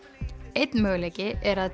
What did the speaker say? einn möguleiki er að